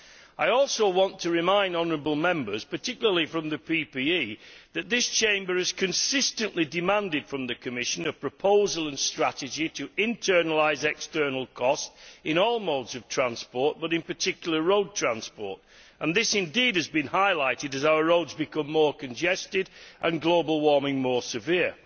I also want to remind honourable Members, particularly from the PPE DE Group, that this Chamber has consistently demanded from the Commission a proposal and strategy to internalise external costs in all modes of transport but in particular road transport and this has indeed been highlighted as our roads become more congested and global warming more severe.